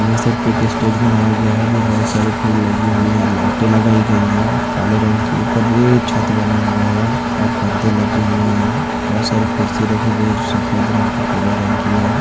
Message PK. Stage बनाया गया है जो बहुत सारे फूल लगी हुई है लाइटे लगाई गई है काले रंग के ऊपर से छत बना हुआ है और परदे लगे हुए हैं बहुत सारी कुर्सी रखी गई सफेद रंग के पहले रंग की है।